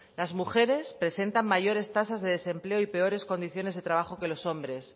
las mujeres presentan mayores tasas de desempleo y peores condiciones de trabajos que los hombres